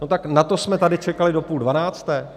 No tak na to jsme tady čekali do půl dvanácté?